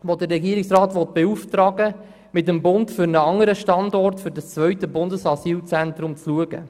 Sie will den Regierungsrat beauftragen, zusammen mit dem Bund einen anderen Standort für das zweite Bundesasylzentrum zu suchen.